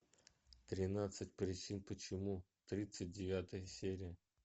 тринадцать причин почему тридцать девятая серия